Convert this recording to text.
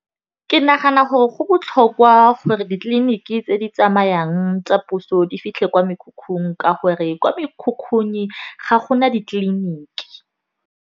Ke nagana gore go botlhokwa gore ditleliniki tse di tsamayang tsa puso di fitlhe kwa mekhukhung ka gore, kwa mekhukhung ga gona ditleliniki.